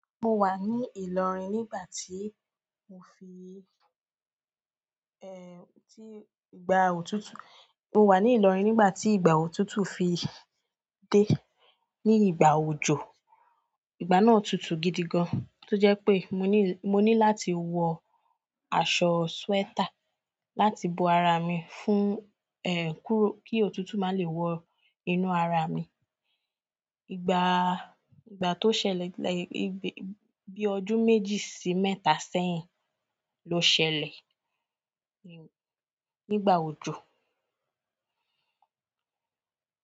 Mo wà ní Ìlọrin nígbà tí mo fi, eh, tí ìgbà òtútù, mo wà ní Ìlọrin nígbà tí ìgbà òtútù fi dé ní ìgbà òjò. Ìgbà náà òtútù gidi gan, tó jẹ́ pé mo ní, mo ní láti wọ aṣọ sweater láti bo ara mi fún, eh, kó kí òtútù má lè wọ inú ara mi. Ìgbà, ìgbà tó ṣẹlẹ̀, bí ọdún méjì sí mẹ́ta sẹ́yìn ló ṣẹlẹ̀, nígbà òjò.